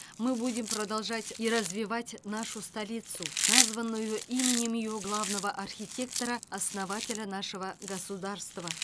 мы будем продолжать и развивать нашу столицу названную именем ее главного архитектора основателя нашего государства